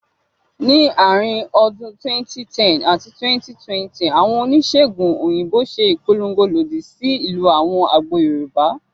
Ní àárín ọdún 2010 àti 2020, àwọn oníṣèègùn òyìnbó ṣe ìpolongo lòdì sí ìlò àwọn àgbo Yorùbá